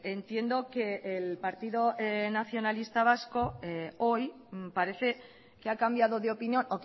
entiendo que el partido nacionalista vasco hoy parece que ha cambiado de opinión